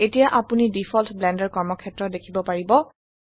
এতিয়া আপোনি default Blender কৰ্মক্ষেত্ৰ দেখিব পাৰিব